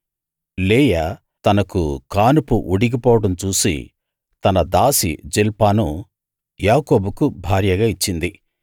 లేయా తనకు కానుపు ఉడిగిపోవడం చూసి తన దాసి జిల్పాను యాకోబుకు భార్యగా ఇచ్చింది